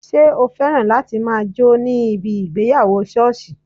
Ṣé o féràn láti máa jó ní ibi ìgbéyàwó sọ́ọ̀sì